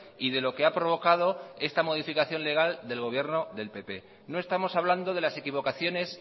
y de lo que ha provocado esta modificación legal del gobierno del pp no estamos hablando de las equivocaciones